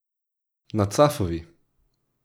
Na Cafovi!